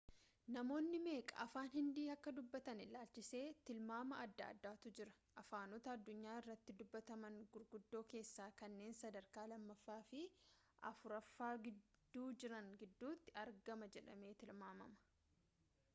namoonni meeqa afaan hindii akka dubbatan ilaalchisee tilmaama adda addaatu jira afaanota addunyaa irratti dubbataman guguddoo keessaa kanneen sadarkaa lammaaffa fi afuraffaa gidduu jiran gidduutti argama jedhamee tilmaamama